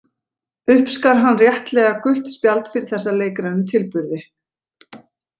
Uppskar hann réttilega gult spjald fyrir þessa leikrænu tilburði.